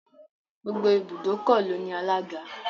Gbogbo ibùdókọ̀ ló ní alága.